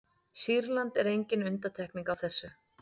sýrland er engin undantekning á þessu